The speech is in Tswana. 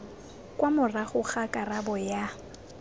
kwa morago ga karabo ya